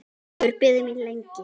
Hefur beðið mín lengi.